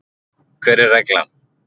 Hver er reglan?